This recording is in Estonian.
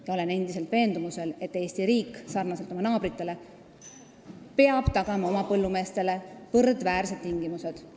Ma olen endiselt veendumusel, et Eesti riik peab samamoodi nagu meie naabrid tagama põllumeestele võrdväärsed tingimused.